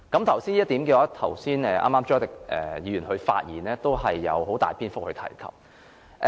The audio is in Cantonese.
就這一點，剛才朱凱廸議員發言時也有很大篇幅提及過。